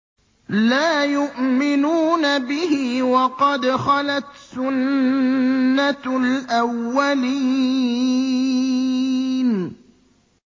لَا يُؤْمِنُونَ بِهِ ۖ وَقَدْ خَلَتْ سُنَّةُ الْأَوَّلِينَ